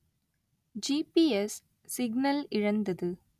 GPS signal இழந்தது